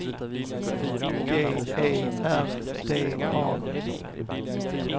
G E R D A